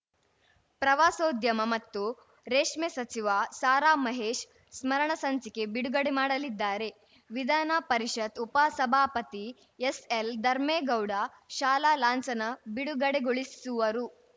ಪ್ರವಾಸೋದ್ಯಮ ಮತ್ತು ರೇಷ್ಮೆ ಸಚಿವ ಸಾರಾ ಮಹೇಶ್‌ ಸ್ಮರಣ ಸಂಚಿಕೆ ಬಿಡುಗಡೆ ಮಾಡಲಿದ್ದಾರೆ ವಿಧಾನ ಪರಿಷತ್‌ ಉಪಸಭಾಪತಿ ಎಸ್‌ಎಲ್‌ಧರ್ಮೇಗೌಡ ಶಾಲಾ ಲಾಂಛನ ಬಿಡುಗಡೆಗೊಳಿಸುವರು